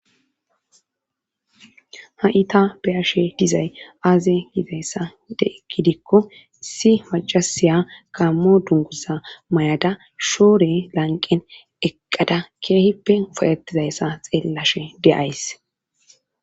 ha7ita beyashe dizay aaze hidayssa ideegidikko si macasiya gammo dungusa may7ada shoore lanqen eqqada keehippe po7etizayssa xeellashe de'ays